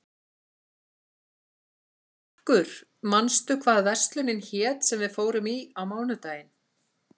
Karkur, manstu hvað verslunin hét sem við fórum í á mánudaginn?